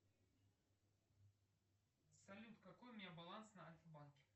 салют какой у меня баланс на альфа банке